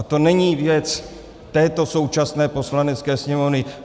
A to není věc této současné Poslanecké sněmovny.